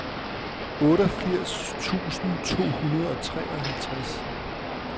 otteogfirs tusind to hundrede og treoghalvtreds